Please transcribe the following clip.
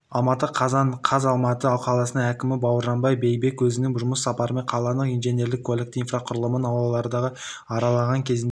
алматы қазан қаз алматы қаласының әкімі бауыржан байбек өзінің жұмыс сапарымен қаланың инженерлік-көліктік инфрақұрылымын аулаларды аралағанкезінде